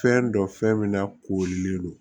Fɛn dɔn fɛn min na koorilen don